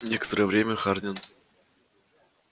некоторое время хардин